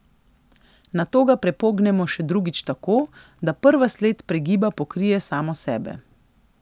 Nato ga prepognemo še drugič tako, da prva sled pregiba pokrije samo sebe.